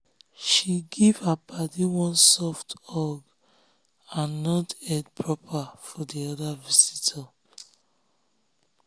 she give her paddy one soft hug and nod head proper for the other visitor.